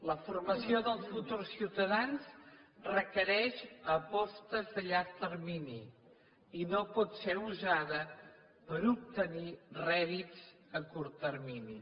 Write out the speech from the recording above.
la formació dels futurs ciutadans requereix apostes a llarg termini i no pot ser usada per obtenir rèdits a curt termini